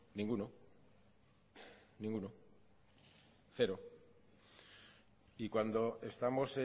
ninguno ninguno cero y cuando estamos